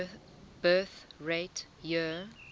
birth rate year